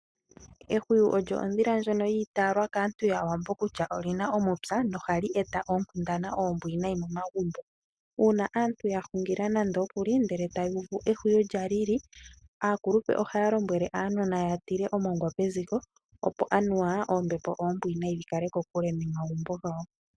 Ehwiyu olyo odhila ndjoka ya itaalwa kaantu yaawambo kutya olina omupya noha li eta oonkundana ombwiinayi momagumbo. Uuna aantu ya hungila nandookuli, ndele taya uvu ehwiyu lya lili aakuluntu ohaya lombwele aanona ya tule omongwa peziko opo anuwa oombepo oombwinayi dhi kale kokule nomagumbo gawo.